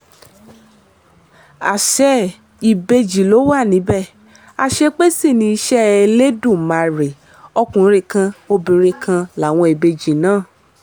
àṣé ìbejì ló wà níbẹ̀ àṣepé sì ni iṣẹ́ elódùmarè ọkùnrin kan obìnrin kan láwọn ìbejì náà